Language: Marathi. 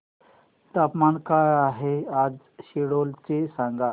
तापमान काय आहे आज सिल्लोड चे मला सांगा